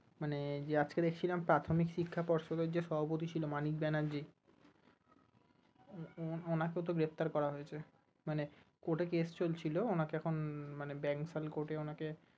মানে যে আজকে দেখছিলাম প্রাথমিক শিক্ষা পর্ষদের যে সভাপতি ছিলো মানিক ব্যানার্জি ওনাকেও তো গ্রেপ্তার করা হয়েছে, মানে কোর্টে কেশ চলছিলো ওনাকে এখন উম মানে ব্যাঙ্কশাল কোর্টে ওনাকে